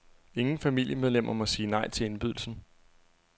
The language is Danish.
Ingen familiemedlemmer må sige nej til indbydelsen.